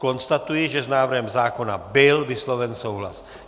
Konstatuji, že s návrhem zákona byl vysloven souhlas.